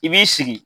I b'i sigi